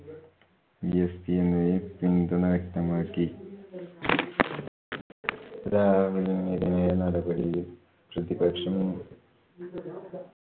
bsp എന്നിവയും പിന്തുണ വ്യക്തമാക്കി. രാഹുലിനെതിരെ നടപടിയിൽ പ്രതിപക്ഷം